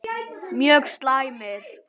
Mjög slæmir